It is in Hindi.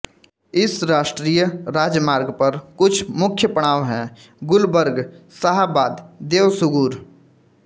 इस राष्ट्रीय राजमार्ग पर कुछ मुख्य पड़ाव हैं गुलबर्ग शाहाबाद देवसुगुर